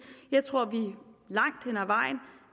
jeg tror